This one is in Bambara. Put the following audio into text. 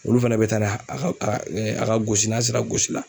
Olu fana bɛ taa n'a ye a ka a ka a ka gosi n'a sera gosi